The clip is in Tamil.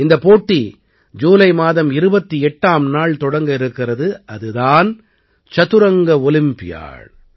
இந்தப் போட்டி ஜூலை மாதம் 28ஆம் நாள் தொடங்க இருக்கிறது அது தான் சதுரங்க ஒலிம்பியாட்